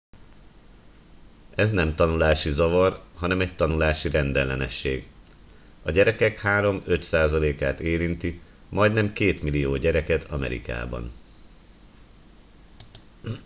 ez nem tanulási zavar hanem egy tanulási rendellenesség a gyerekek 3-5 százalékát érinti majdnem 2 millió gyereket amerikában